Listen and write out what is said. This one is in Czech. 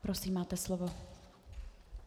Prosím, máte slovo.